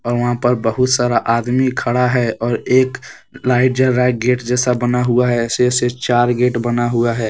और वहाँ पर बहुत सारा आदमी खड़ा है और एक लाइट जो है गेट जैसा बना हुआ है छः से चार गेट बना हुआ है।